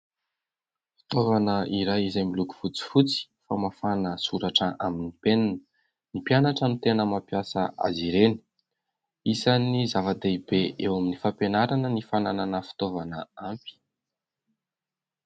Fitaovana iray, izay miloko fotsifotsy, famafana soratra amin'ny penina. Ny mpianatra no tena mampiasa azy ireny. Isany zava-dehibe eo amin'ny fampianarana ny fananana fitaovana ampy.